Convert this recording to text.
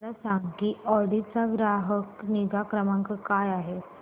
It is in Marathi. मला सांग की ऑडी चा ग्राहक निगा क्रमांक काय आहे